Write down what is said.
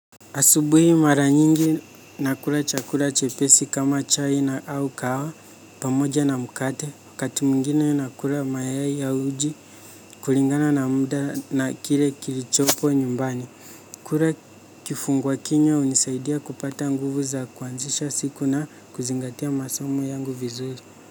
Asubuhi mara nyingi nakula chakula chepesi kama chai na au kahawa pamoja na mkate wakati mwigine nakula mayai ya uji kulingana na muda na kile kilichopo nyumbani. Kula kifunguwa kinywa hunisaidia kupata nguvu za kuanzisha siku na kuzingatia masomo yangu vizuri.